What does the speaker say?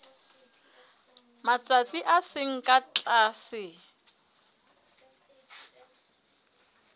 matsatsi a seng ka tlase